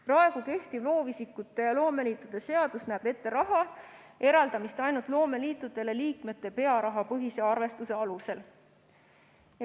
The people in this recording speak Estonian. Praegu kehtiv loovisikute ja loomeliitude seadus näeb ette raha eraldamist ainult loomeliitudele liikmete pearahapõhise arvestuse alusel.